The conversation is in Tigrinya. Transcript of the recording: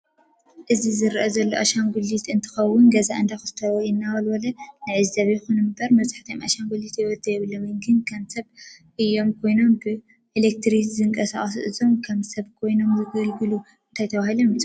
እዚ ዝርአ ዘሎ ኣሻንጉልት እንትከውን ገዛ እዳኮስተረ ወይ ዳወልበል ንዕዘብ ይኩን ንበር መብዛሕትኦም ኣሻንግልታት ሂውት የብሎምን ግን ከም ሰብ እዩ ከይኑም ብእለትርክ ዝንቃሳቆሱ እዞም ከም ሰብ ኮይኑም ዝግልግሉ እንታይ ተበሂሎም ይፅውዑ?